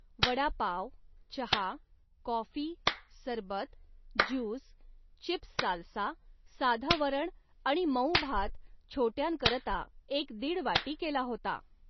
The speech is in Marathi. वडा पाव, चहा, कॉफी, सरबत, ज्यूस, चिप्स साल्सा, साधं वरण आणि मऊ भात छोट्यांकरता एक दिड वाटी केला होता